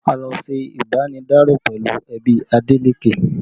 A lọ ṣe ibanidaro pẹ̀lú ẹbí Adeleke